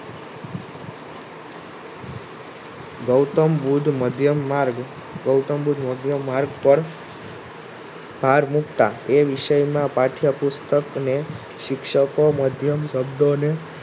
ગૌતમબુદ્ધ મધ્યમ માર્ગ ગૌતમબુદ્ધ મધ્યમ માર્ગ પર ભાર મુકતા એ વિષયમાં પાઠ્યપુસ્તક્ને શિક્ષકો મધ્યમ શબ્દોને